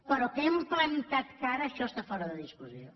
però que hem plantat cara això està fora de discussió